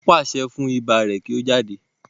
nwọn paṣẹ fun iba rẹ kio jáde.